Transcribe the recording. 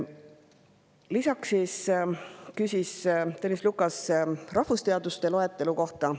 Lisaks küsis Tõnis Lukas rahvusteaduste loetelu kohta.